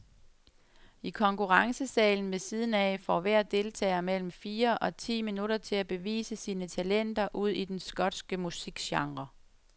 I konkurrencesalen ved siden af får hver deltager mellem fire og ti minutter til at bevise sine talenter ud i den skotske musikgenre.